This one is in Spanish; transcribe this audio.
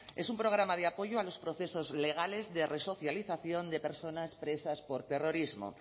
es un programa de apoyo a los procesos legales de resocialización de personas presas por terrorismo